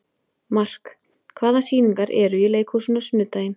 Mark, hvaða sýningar eru í leikhúsinu á sunnudaginn?